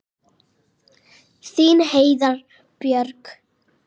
Þín Heiða Björg.